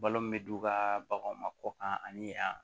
Balo min bɛ d'u ka baganw ma kɔ kan ani yan